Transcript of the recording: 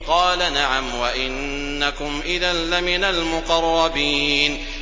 قَالَ نَعَمْ وَإِنَّكُمْ إِذًا لَّمِنَ الْمُقَرَّبِينَ